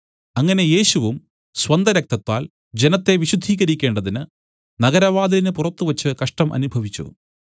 അങ്ങനെ യേശുവും സ്വന്തരക്തത്താൽ ജനത്തെ വിശുദ്ധീകരിക്കേണ്ടതിന് നഗരവാതിലിന് പുറത്തുവച്ച് കഷ്ടം അനുഭവിച്ചു